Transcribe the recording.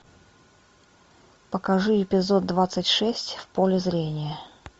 покажи эпизод двадцать шесть в поле зрения